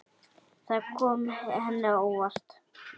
Það kom henni á óvart.